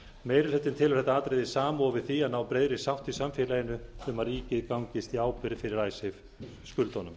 meiri hlutinn telur þetta atriði samofið því að ná breiðri sátt í samfélaginu um að ríkið gangist í ábyrgð fyrir skuldunum